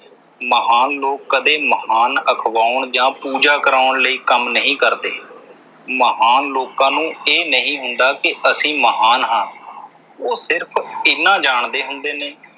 ਮਹਾਨ ਲੋਕ ਕਦੇ ਮਹਾਨ ਅਖਵਾਉਣ ਜਾਂ ਪੂਜਾ ਕਰਾਉਣ ਲਈ ਕੰਮ ਨਹੀਂ ਕਰਦੇ। ਮਹਾਨ ਲੋਕਾਂ ਨੂੰ ਇਹ ਨਹੀਂ ਹੁੰਦਾ ਕਿ ਅਸੀਂ ਮਹਾਨ ਹਾਂ। ਉਹ ਸਿਰਫ ਐਨਾ ਜਾਣਦੇ ਹੁੰਦੇ ਨੇ।